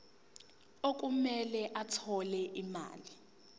okumele athole imali